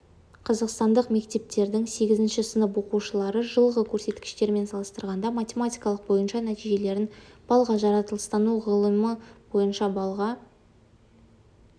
қазақстандық мектептердің сегізінші сынып оқушылары жылғы көрсеткіштермен салыстырғанда математика бойынша нәтижелерін баллға жаратылыстану ғылымы бойынша баллға